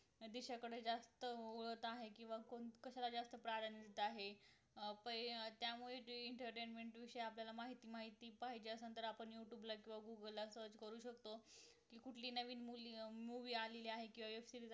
कुठली दिशेकडे जास्त वळत आहे किंवा कशाला जास्त प्राधान्य देत आहे आणि पै त्यामुळे जे entertainment विषयी आपल्याला माहिती माहिती पाहिजे असेल तर आपण youtube ला किंवा google ला search करू शकतो कुठली नवीन movie आलेली आहे किंवा web serease